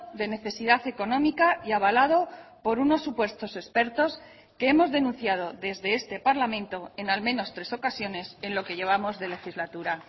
de necesidad económica y avalado por unos supuestos expertos que hemos denunciado desde este parlamento en al menos tres ocasiones en lo que llevamos de legislatura